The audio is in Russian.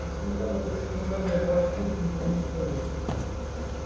несмотря на предсказания башкирцы не возмущались